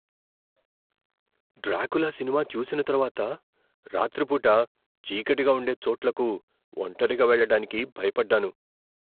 Dracula cinema చూసిన తర్వాత, రాత్రిపూట చీకటిగా ఉండే చోట్లకు ఒంటరిగా వెళ్లడానికి భయపడ్డాను.